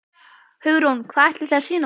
Hugrún: Hvað ætlið þið að sýna okkur?